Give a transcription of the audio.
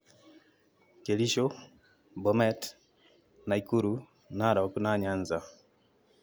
Kericho, Bomet, Nakuru, Narok na Nyanza